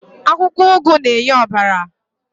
Akwụkwọ ụgụ na-enye ọbara.